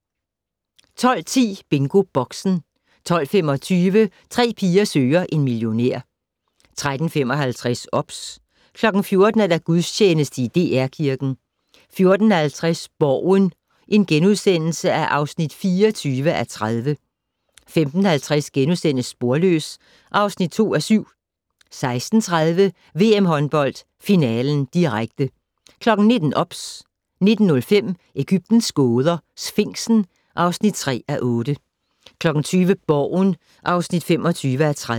12:10: BingoBoxen 12:25: Tre piger søger en millionær 13:55: OBS 14:00: Gudstjeneste i DR Kirken 14:50: Borgen (24:30)* 15:50: Sporløs (2:7)* 16:30: VM håndbold finalen, direkte 19:00: OBS 19:05: Egyptens gåder - Sfinksen (3:8) 20:00: Borgen (25:30)